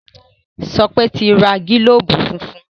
Sope n ti rà gilobu fúnfún.